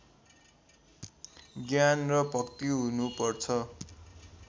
ज्ञान र भक्ति हुनुपर्छ